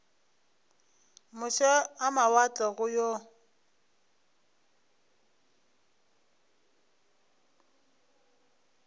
moše a mawatle go yo